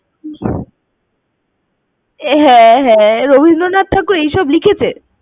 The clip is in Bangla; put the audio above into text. হ্যাঁ হ্যাঁ, রবীন্দ্রনাথ ঠাকুর এসব লিখেছে।